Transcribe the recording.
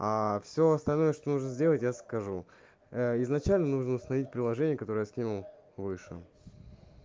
всё остальное что нужно сделать я скажу изначально нужно установить приложение которое я скинул выше